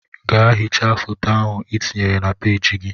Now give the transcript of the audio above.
Gaa hichaa foto ahụ ị tinyere na peeji gị!